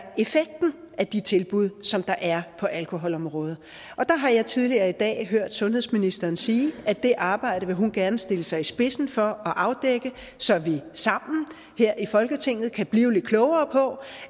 af de tilbud som der er på alkoholområdet og der har jeg tidligere i dag hørt sundhedsministeren sige at det arbejde vil hun gerne stille sig i spidsen for at afdække så vi sammen her i folketinget kan blive lidt klogere på